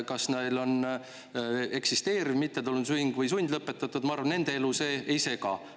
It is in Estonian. Kas neil on eksisteeriv või sundlõpetatud mittetulundusühing, ma arvan, see nende elu ei sega.